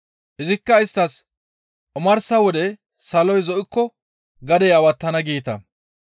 Izikka isttas, «Omarsa wode saloy zo7ikko, ‹Gadey awattana› geeta.